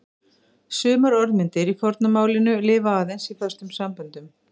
Sumar orðmyndir í forna málinu lifa aðeins í föstum samböndum.